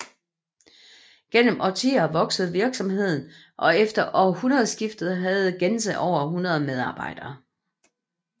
Gennem årtier voksede virksomheden og efter århundredeskiftet havde Gense over 100 medarbejdere